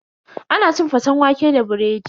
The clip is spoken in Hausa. Ana cin faten waƙe da biredi.